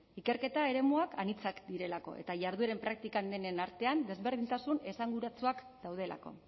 ikerketa eremuak anitzak direlako eta jardueren praktikan denen artean ezberdintasun esanguratsuak daudelako